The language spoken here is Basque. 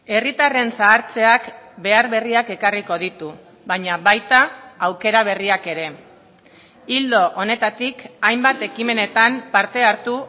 herritarren zahartzeak behar berriak ekarriko ditu baina baita aukera berriak ere ildo honetatik hainbat ekimenetan parte hartu